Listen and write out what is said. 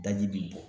Daji b'i bɔ